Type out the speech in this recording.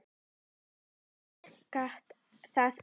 En ég gat það ekki.